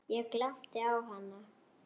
Ég glápti á hana.